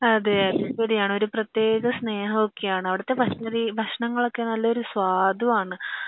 അതെ അതെ ശെരിയാണ് ഒരു പ്രത്യേക സ്നേഹം ഒക്കെ ആണ് അവിടത്തെ ഭക്ഷണരി ഭക്ഷണങ്ങൾ ഒക്കെ നല്ലൊരു സ്വത്തും ആണ്